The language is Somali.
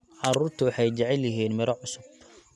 Carruurtu waxay jecel yihiin miro cusub.